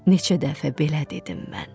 neçə dəfə belə dedim mən.